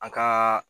A ka